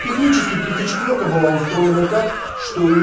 технически тридцать четвёрка была устроена так что её